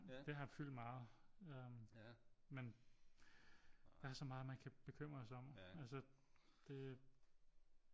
Det har fyldt meget øh men der er så meget man kan bekymre sig om altså det